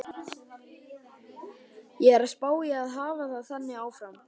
Ég er að spá í að hafa það þannig áfram.